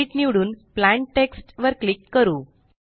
edit निवडुन plain text वर click करू